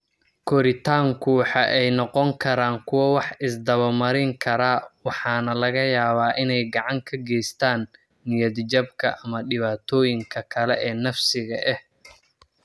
Koritaanku waxa ay noqon karaan kuwo wax-is-daba-marin kara waxaana laga yaabaa inay gacan ka geystaan ​​niyad-jabka ama dhibaatooyinka kale ee nafsiga ah.